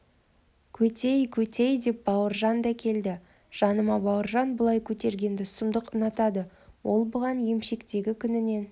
көтей көтей деп бауыржан да келді жаныма бауыржан бұлай көтергенді сұмдық ұнатады ол бұған емшектегі күнінен